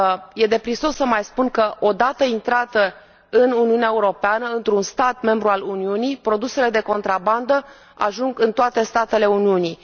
E de prisos să mai spun că, odată intrate în Uniunea Europeană, într un stat membru al Uniunii, produsele de contrabandă ajung în toate statele Uniunii.